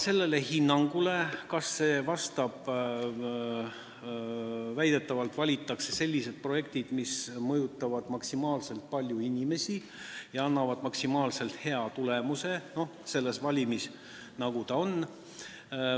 Selle hinnangu alusel valitakse väidetavalt sellised projektid, mis mõjutavad maksimaalselt paljusid inimesi ja annavad maksimaalselt hea tulemuse selles valimis, mis on.